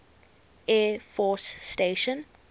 air force station